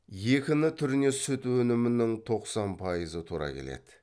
екіні түріне сүт өнімінің тоқсан пайызы тура келеді